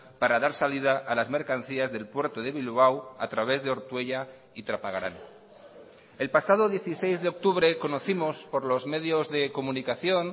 para dar salida a las mercancías del puerto de bilbao a través de ortuella y trapagarán el pasado dieciséis de octubre conocimos por los medios de comunicación